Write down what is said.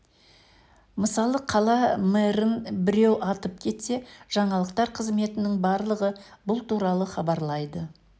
мысалы қала мэрін біреу атып кетсе жаңалықтар қызметінің барлығы бұл туралы хабарлайды